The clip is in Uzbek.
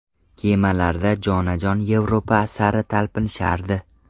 Kemalarda jonajon Yevropa sari talpinishardi.